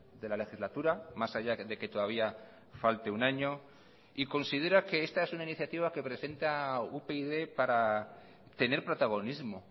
de la legislatura más allá de que todavía falte un año y considera que esta es una iniciativa que presenta upyd para tener protagonismo